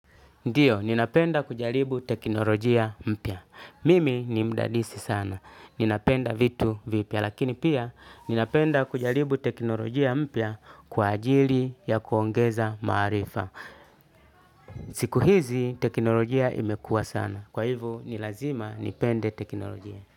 Ndiyo, ninapenda kujalibu teknolojia mpya. Mimi ni mdadisi sana. Ninapenda vitu vipya. Lakini pia, ninapenda kujalibu teknolojia mpya kwa ajili ya kuongeza maarifa. Siku hizi, teknolojia imekua sana. Kwa hivo, nilazima nipende teknolojia.